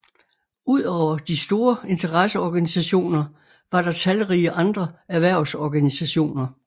Udover de store interesseorganisationer var der talrige andre erhvervsorganisationer